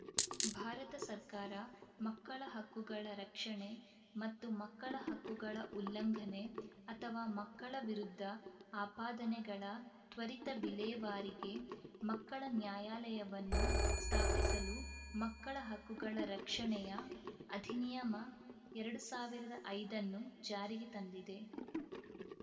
ಭಾರತ ಸರ್ಕಾರ ಮಕ್ಕಳ ಹಕ್ಕುಗಳ ರಕ್ಷಣೆ ಮತ್ತು ಮಕ್ಕಳ ಹಕ್ಕುಗಳ ಉಲ್ಲಂಘನೆ ಅಥವಾ ಮಕ್ಕಳ ವಿರುದ್ಧ ಆಪಾದನೆಗಳ ತ್ವರಿತ ವಿಲೇವಾರಿಗೆ ಮಕ್ಕಳ ನ್ಯಾಯಾಲಯವನ್ನು ಸ್ಥಾಪಿಸಲು ಮಕ್ಕಳ ಹಕ್ಕುಗಳ ರಕ್ಷಣೆಯ ಅಧಿನಿಯಮ ಎರಡು ಸಾವಿರದ ಐದನ್ನು ಜಾರಿಗೆ ತಂದಿದೆ